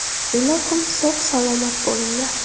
Ilohim sog‘-salomat bo‘linglar!